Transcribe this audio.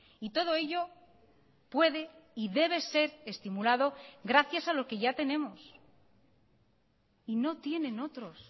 y todo ello puede y debe ser estimulado gracias a lo que ya tenemos y no tienen otros